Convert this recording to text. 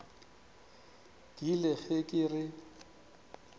ke ile ge ke re